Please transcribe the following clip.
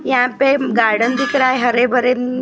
यहाँ पे गार्डन दिख रहा है हरे भरे--